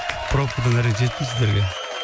пробкадан әрең жеттім сіздерге